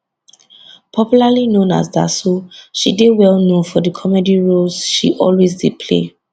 popularly known as daso she dey well known for di comedy roles she always dey play